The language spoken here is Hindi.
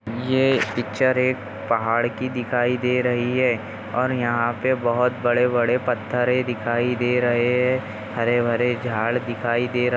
ये पिच्चर एक पहाड़ की दिखाई दे रही है और यहाँ पे बहुत बड़े बड़े पत्थर दिखाई दे रहे है हरे भरे झाड़ दिखाई दे रहा--